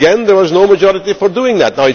Again there was no majority for doing that.